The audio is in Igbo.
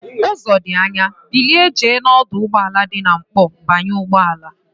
Uzo di Anya, bilie jee na oduugboala di na nkpo banye ugboala!